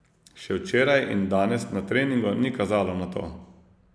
Še včeraj in danes na treningu ni kazalo na to.